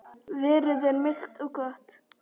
Veðrið er milt og gott.